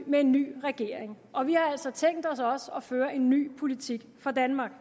med en ny regering og vi har altså tænkt os også at føre en ny politik for danmark